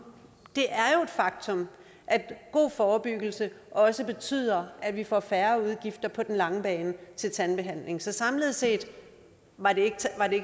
faktum at god forebyggelse også betyder at vi får færre udgifter på den lange bane til tandbehandling så samlet set var det ikke